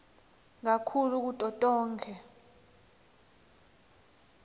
kakhulu kuto tonkhe